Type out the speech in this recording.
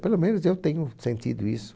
Pelo menos eu tenho sentido isso.